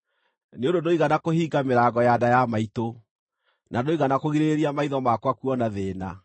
nĩ ũndũ ndũigana kũhinga mĩrango ya nda ya maitũ, na ndũigana kũgirĩrĩria maitho makwa kuona thĩĩna.